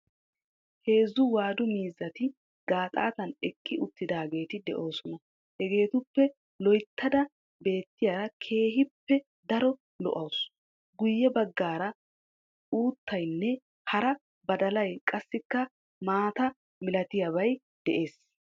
Heezzu waadu miizzati gaaxaatan eqqi uttidaageeti de'oosona. Hegeetuppe loyttada beettiyara keehippe daro lo"awuus guyye baggaara uuttaynne hara badalay qassikka maata milatiyabay de'ees.